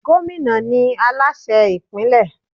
Gómìnà ni Aláṣẹ ìpínlẹ̀.